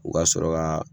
U ka sɔrɔ ka